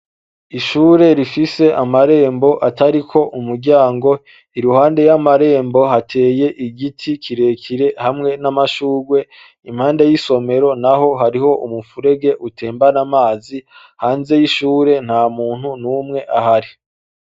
Ishuri rifise amarembo atariko umuryango iruhande y'amarembo hateye igiti kirekire hamwe n'amashurwe impande y'isomero naho hariho umufurege utembana amazi hanze y'ishuri ntamuntu numwe ahari.